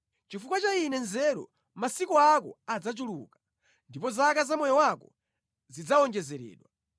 Chifukwa cha ine nzeru, masiku ako adzachuluka, ndipo zaka za moyo wako zidzawonjezeredwa.